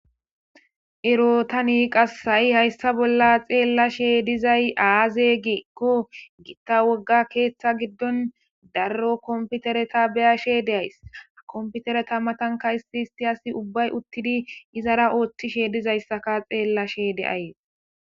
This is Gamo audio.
Ero tani qasi ha7i hayssa bolla xeella she dizay aaze giikko gitta wogga keeththa giddon darro komputereta beyashe de7ayss ha komputereta matanka issi issi asi ubbay uttidi izara ooththishe dizayssaka xeellashe de7ayees.